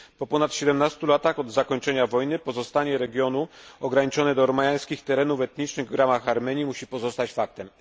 Po ponad 17 latach od zakończenia wojny pozostanie regionu ograniczone do ormiańskich terenów etnicznych w ramach Armenii musi pozostać faktem.